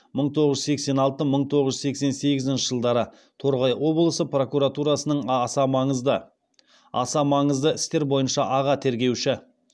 мың тоғыз жүз сексен алты мың тоғыз жүз сексен сегізінші жылдары торғай облысы прокуратурасының аса маңызды істер бойынша аға тергеуші